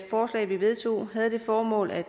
forslag vi vedtog havde det formål at